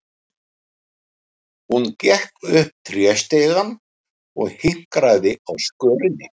Hún gekk upp tréstigann og hikaði á skörinni.